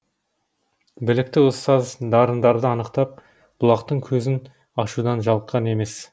білікті ұстаз дарындарды анықтап бұлақтың көзін ашудан жалыққан емес